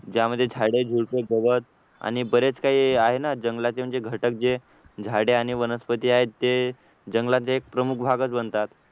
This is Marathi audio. ज्यामध्ये झाडे झुडपे गवत आणि बरेच काही आहे ना जंगलाचे म्हणजे घटक जे झाडे आणि वनस्पती आहेत ते जंगलाचा एक प्रमुख भागच बनतात